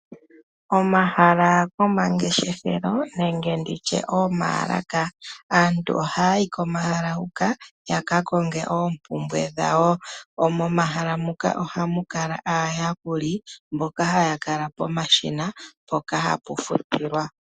Omahala gomangeshefelo nenge oomalaka. Aantu ohaya yi komahala hoka ya ka konge oompumbwe dhawo. Momahala muka ohamu kala aayakuli mboka haya kala pomashina mpoka hapu futilwa.